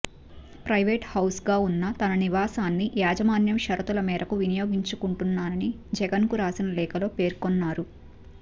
private హౌస్గా ఉన్న తన నివాసాన్ని యాజమాన్యం షరతుల మేరకు వినియోగించుకుంటున్నానని జగన్ కు రాసిన లేఖలో పేర్కొన్నారు